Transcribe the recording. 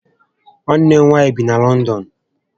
Nwanne m nwaanyị bi na Lọndọn